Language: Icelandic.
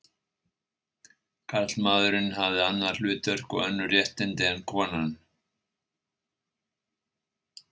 Karlmaðurinn hafi annað hlutverk og önnur réttindi en konan.